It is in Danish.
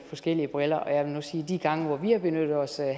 forskellige briller jeg vil nu sige at de gange hvor vi har benyttet os af